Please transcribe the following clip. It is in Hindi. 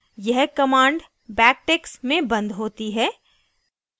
यह command backticks backticks में बंद होती है